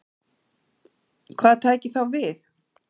Hvað tæki þá við?